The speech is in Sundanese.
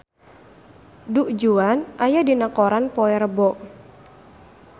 Du Juan aya dina koran poe Rebo